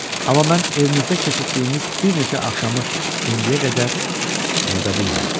Amma mən evimizdə keçirdiyimiz bir neçə axşamı indiyə qədər unuda bilmirəm.